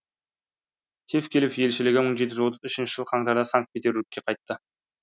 тевкелев елшілігі мың жеті жүз отыз үшінші жылы қаңтарда санкт петербургке қайтты